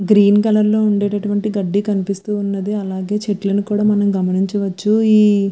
Green colour లో ఉండేట్టు వంటి గడ్డి కనిపిస్తూ వున్నది. అలాగే చెట్టులని కూడా మనం గమనించవచ్చు.